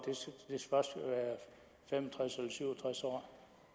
fem og tres eller syv og tres år